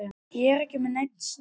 Ég er ekki með neinn smokk.